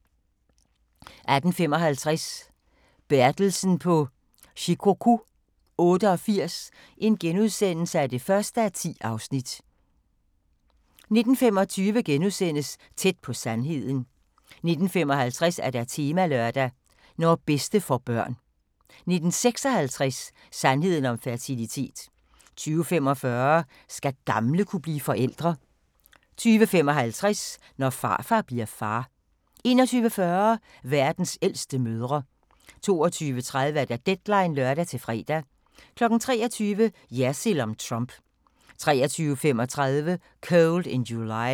18:55: Bertelsen på Shikoku 88 (1:10)* 19:25: Tæt på sandheden * 19:55: Temalørdag: Når bedste får børn 19:56: Sandheden om fertilitet 20:45: Skal gamle kunne blive forældre? 20:55: Når farfar bli'r far 21:40: Verdens ældste mødre 22:30: Deadline (lør-fre) 23:00: Jersild om Trump 23:35: Cold in July